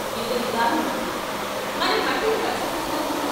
యుగయుగాల మట్టి మనం మట్టిని మర్చిపోతున్నామా?